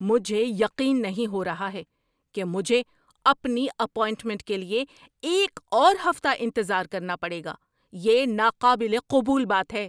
مجھے یقین نہیں ہو رہا ہے کہ مجھے اپنی اپائنٹمنٹ کے لیے ایک اور ہفتہ انتظار کرنا پڑے گا۔ یہ ناقابل قبول بات ہے۔